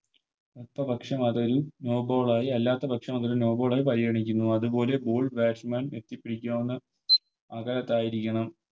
അടുത്ത പക്ഷം അതൊരു No ball ആയി അല്ലാത്ത പക്ഷം അതൊരു No ball ആയി പരിഗണിക്കുന്നു അതുപോലെ Ball batsman എത്തിപ്പിടിക്കാവുന്ന അകലത്ത് ആയിരിക്കണം